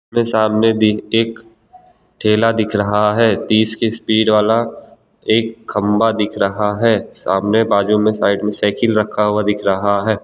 मे सामने भी एक ठेला दिख रहा है तीस की स्पीड वाला एक खंभा दिख रहा है सामने बाजू में साइड में साइकिल रखा हुआ दिख रहा है।